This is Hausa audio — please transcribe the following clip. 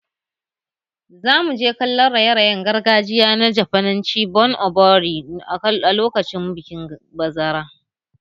Za mu je kallon raye-rayen gargajiya na Jafananci "Bon Odori" a lokacin bikin bazara